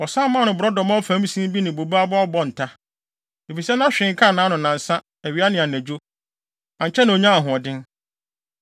Wɔsan maa no borɔdɔma ɔfam sin bi ne bobe aba ɔbɔnta, efisɛ na hwee nkaa nʼano nnansa; awia ne anadwo. Ankyɛ na onyaa ahoɔden.